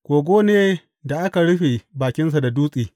Kogo ne da aka rufe bakin da dutse.